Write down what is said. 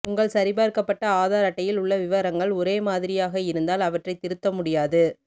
உங்கள் சரிபார்க்கப்பட்ட ஆதார் அட்டையில் உள்ள விவரங்கள் ஒரே மாதிரியாக இருந்தால் அவற்றைத் திருத்த முடியாது